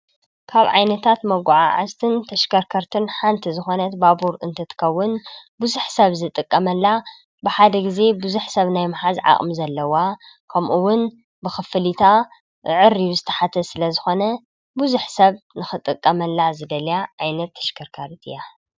ካብ ዓይነታት መጓዓዓዝትን ተሽከርከርትን ሓንቲ ዝኾነት ባቡር እንትትከውን ብዙሕ ሰብ ዝጥቀመላ ብሓደ ግዜ ብዙሕ ሰብ ናይ ምሓዝ ዓቕሚ ዘለዋ ከምኡውን ብኽፍሊታ ዓዐርዩ ዝተሓተ ስለዝኾነ ብዙሕ ሰብ ንኽጥቀመላ ዝደልያ ዓይነት ተሽከርካሪ እያ፡፡